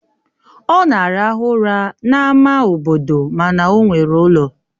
Ọ na-arahụ ụra n'ámá obodo mana ọ nwere ụlọ